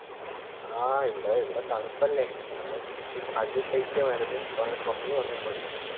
ആഹ് ഇവിടെ ഇവിടെ തണുപ്പല്ലേ ഇവിടെ ഒര് അതി ശൈത്യമായിരുന്നു ഇപ്പങ് കൊറഞ്ഞ് വന്നിട്ടുണ്ട്